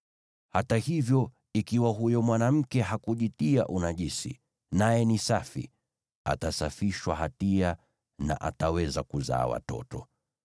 Hata hivyo, ikiwa huyo mwanamke hakujitia unajisi, naye ni safi, atasafishwa hatia na ataweza kuzaa watoto.